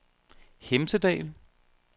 Hemsedal